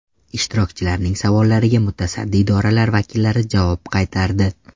Ishtirokchilarning savollariga mutasaddi idoralar vakillari javob qaytardi.